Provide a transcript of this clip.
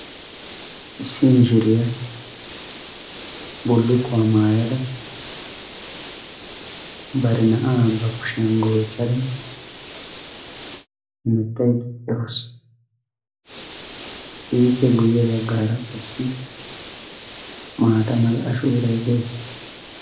Issi mishiriya bullukkuwa maayada bari na"aa ba kushiyan goochchada hemettaydda de"awus. Ippe guyye baggaara qassi maata mala ashoorayi de"es.